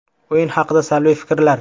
O‘yin haqida salbiy fikrlar?